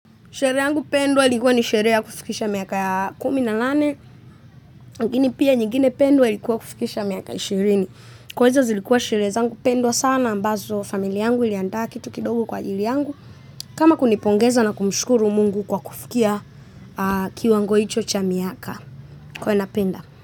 Sherehe yangu pendwa ilikuwa ni sherehe ya kufikisha miaka ya kumi na nane. Lakini pia nyingine pendwa ilikuwa kufikisha miaka ishirini. Kwanza zilikuwa sherehe zangu pendwa sana ambazo familia yangu iliandaa kitu kidogu kwa ajili yangu. Kama kunipongeza na kumshukuru Mungu kwa kufikia aaaah kiwango hicho cha miaka kwawe napenda.